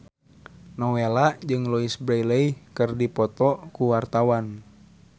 Nowela jeung Louise Brealey keur dipoto ku wartawan